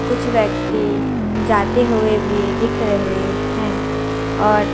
कुछ व्यक्ति जाते हुए भी दिख रहे हैं और--